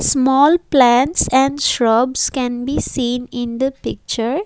Small plants and shrubs can be seen in the picture.